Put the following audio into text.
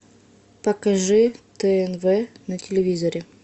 покажи тнв на телевизоре